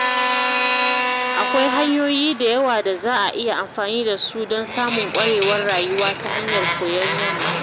Akwai hanyoyi da yawa da za a iya amfani da su don samun ƙwarewar rayuwa ta hanyar koyon yamma.